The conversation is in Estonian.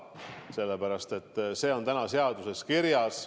Sellepärast et see on seaduses kirjas.